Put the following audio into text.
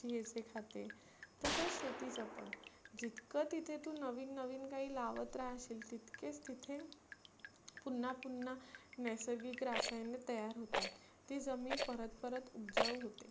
हेच हे खाते. तसचं शेतीच पण. जितक तीथे तु नविन नवीन काही लावत राहशील तितकेच तीथे पुन्हा पुन्हा नैसर्गिक रसायने तयार होतात. ती जमिन परत परत उबजाऊ होते.